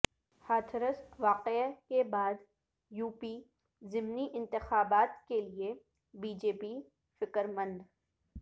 ہاتھرس واقعہ کے بعد یو پی ضمنی انتخابات کیلئے بی جے پی فکر مند